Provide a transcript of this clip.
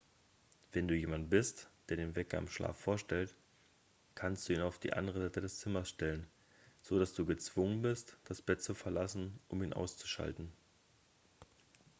wenn du jemand bist der den wecker im schlaf vorstellt kannst du ihn auf die andere seite des zimmers stellen so dass du gezwungen bist das bett zu verlassen um ihn auszuschalten